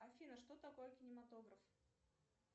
афина что такое кинематограф